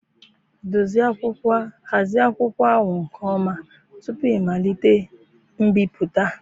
Hazie akwụkwọ ahụ nke ọma tupu ịmalite mbipụta